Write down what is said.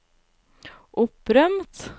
opprømt